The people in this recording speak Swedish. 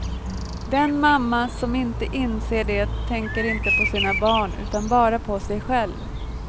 Den mamma som inte inser det tänker inte på sina barn utan bara på sig själv.